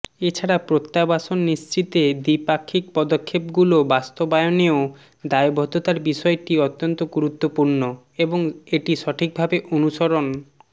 এ ছাড়া প্রত্যাবাসন নিশ্চিতে দ্বিপাক্ষিক পদক্ষেপগুলো বাস্তবায়নেও দায়বদ্ধতার বিষয়টি অত্যন্ত গুরুত্বপূর্ণ এবং এটি সঠিকভাবে অনুসরণ